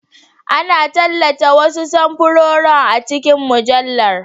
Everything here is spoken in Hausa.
Ana tallata wasu samfuran a cikin mujallar.